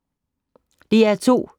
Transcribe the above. DR2